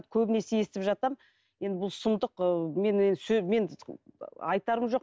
көбінесе естіп жатамын енді бұл сұмдық ы мен енді мен айтарым жоқ